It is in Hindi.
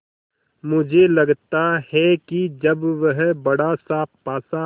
मुझे लगता है कि जब वह बड़ासा पासा